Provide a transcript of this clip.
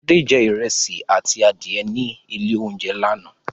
Fadé jẹ ìrẹsì àti adìẹ ní ilé-oúnjẹ lánàá.